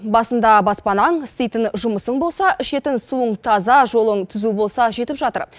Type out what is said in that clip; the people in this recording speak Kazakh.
басында баспанаң істейтін жұмысың болса ішетін суың таза жолың түзу болса жетіп жатыр